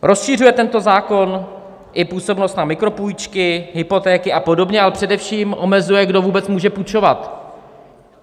Rozšiřuje tento zákon i působnost na mikropůjčky, hypotéky a podobně, ale především omezuje, kdo vůbec může půjčovat.